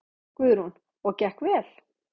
Guðrún: Og gekk vel?